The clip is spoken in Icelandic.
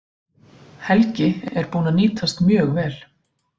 Helgi er búinn að nýtast mjög vel.